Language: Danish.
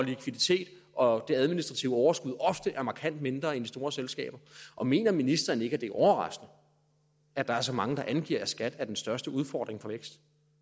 likviditet og administrative overskud ofte er markant mindre end de store selskabers og mener ministeren ikke det er overraskende at der er så mange der angiver at skat er den største udfordring for vækst